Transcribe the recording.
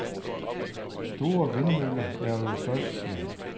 Store vindmøller laver jo støj, siger han.